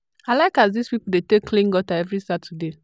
i like as dis pipo dey take clean gutter every saturday.